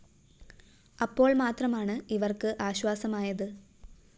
അപ്പോള്‍ മാത്രമാണ് ഇവര്‍ക്ക് ആശ്വാസമായത്